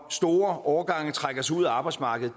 store årgange trækker sig ud af arbejdsmarkedet